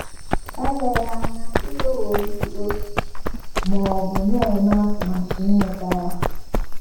Eleghị anya i nweworị otu, ma ọ bụ na - eme atụmatụ inweta ya.